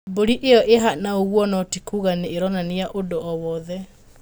Mbũri ĩyo ĩhana ũguo no ti kuga nĩ-ĩronania ũndũ wowothe.